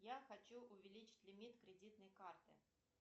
я хочу увеличить лимит кредитной карты